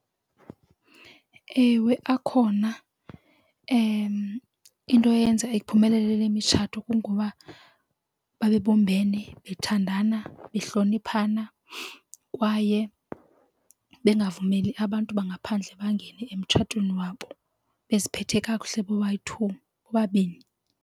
Ewe, akhona into eyenza iphumelele le mitshato kungoba babebumbene bathandana behloniphana kwaye bengavumeli abantu bangaphandle bangene emtshatweni wabo beziphethe kakuhle bobayi-two bobabini.